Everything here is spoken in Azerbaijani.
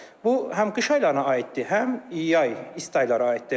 Bu həm qış aylarına aiddir, həm yay, isti aylara aiddir.